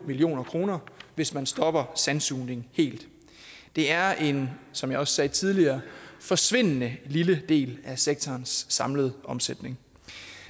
million kr hvis man stopper sandsugning helt det er en som jeg også sagde tidligere forsvindende lille del af sektorens samlede omsætning